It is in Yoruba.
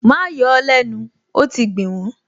Má yọ ó lẹ́nu, ó ti gbìn wọ́n!